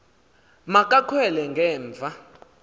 ma kakhwele ngemva